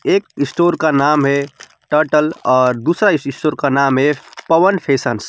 एक स्टोर का का नाम है टर्टल और दूसरा स्टोर का नाम है पवन फैशन्स ।